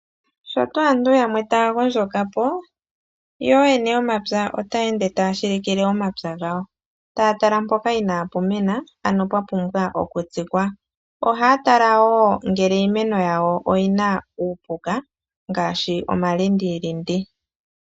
Sho tuu aantu yamwe taya gondjoka po, yo ooyene yomapya otaya ende taya shilikile omapya gawo, taya tala mpoka inaa pu mena, ano pwa pumbwa okutsikwa. Ohaa tala wo, ngele iimeno yawo oyi na uupuka ngaashi omalindilindi.